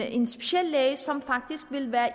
en speciallæge som faktisk ville være i